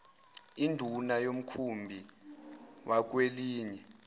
induna yomkhumbi wakwelinye